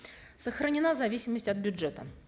сохранена зависимость от бюджета